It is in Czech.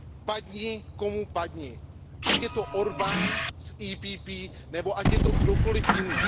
Padni komu padni, ať je to Orbán z PPE nebo ať je to kdokoliv jiný.